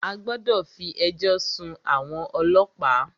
A gbọ́dọ̀ fí ẹjọ́ sún àwọn ọlọ́pàá!